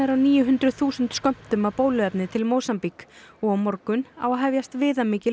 á níu hundruð þúsund skömmtum af bóluefni til Mósambík og á morgun á að hefjast viðamikil